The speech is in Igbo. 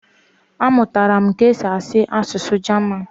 Amụtara m ka e si asụ asụsụ Jaman